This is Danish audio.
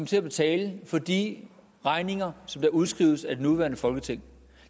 skal betale for de regninger der udskrives af det nuværende folketing